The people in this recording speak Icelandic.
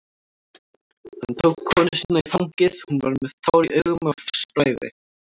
Hann tók konu sína í fangið, hún var með tár í augum af bræði.